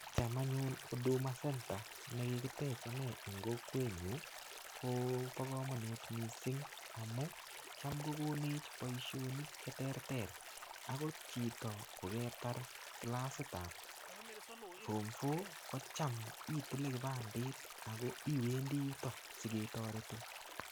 Cham anyun Huduma Center ne kigitech ane eng kokwenyu, kobo kamanut mising amun cham logonech boisionik che terter agot chito ko ketar kilasitab form four kocham itile kipandit ago iwendi yuto sigetoretin.